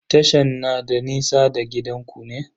Tashan na da nisa da gidanku ne?